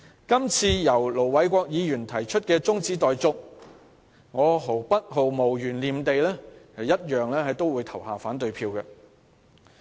今次由盧偉國議員提出的中止待續議案，我毫無懸念也會表決反對。